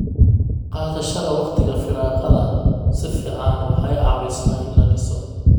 Qaadashada wakhtiga firaaqada si fiican waxay caawisaa in la dhiso.